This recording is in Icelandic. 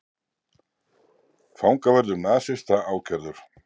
Fangavörður nasista ákærður